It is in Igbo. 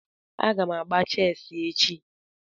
Aga m agba chessi echi